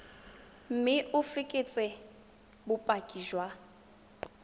mme o fekese bopaki jwa